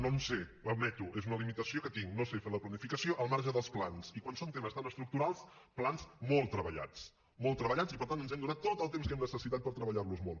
no en sé ho admeto és una limitació que tinc no sé fer la planificació al marge dels plans i quan són temes tan estructurals plans molt treballats molt treballats i per tant ens hem donat tot el temps que hem necessitat per treballar los molt